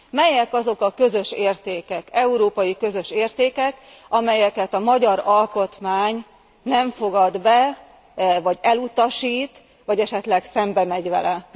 Melyek azok a közös értékek, európai közös értékek, amelyeket a magyar alkotmány nem fogad be, vagy elutasít, vagy esetleg szembe megy vele?